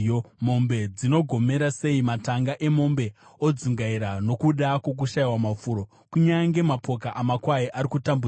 Mombe dzinogomera sei! Matanga emombe odzungaira nokuda kwokushayiwa mafuro. Kunyange mapoka amakwai ari kutambudzika.